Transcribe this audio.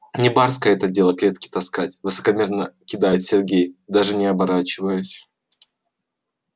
не барское это дело клетки таскать высокомерно кидает сергей даже не оборачиваясь